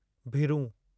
भिरूं